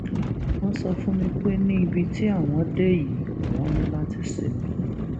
wọn sọ fún mi pé ní ibi tí àwọn dé yìí àwọn ní láti ṣímí